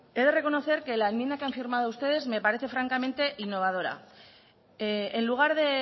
he de reconocer que la enmienda que han firmado ustedes me parece francamente innovadora en lugar de